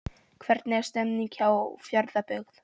Hvernig er stemningin hjá Fjarðabyggð?